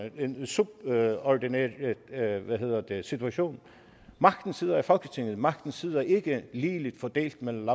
i en subordineret situation magten sidder i folketinget magten sidder ikke ligeligt fordelt mellem